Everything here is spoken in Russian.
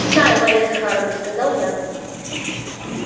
знаю марья захаровна сказал я